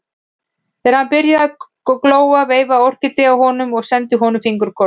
Þegar hann byrjaði að glóa veifaði Orkídea honum og sendi honum fingurkoss.